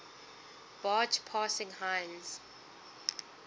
barge passing heinz